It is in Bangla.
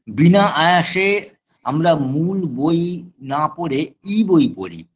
বিনা আয়াসে আমরা মূল বই না পড়ে ই-বই পড়ি